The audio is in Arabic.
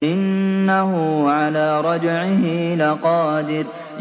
إِنَّهُ عَلَىٰ رَجْعِهِ لَقَادِرٌ